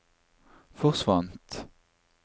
forsvant